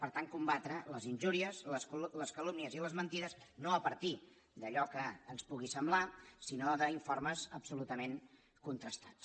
per tant combatre les injúries les calúmnies i les mentides no a partir d’allò que ens pugui semblar sinó d’informes absolutament contrastats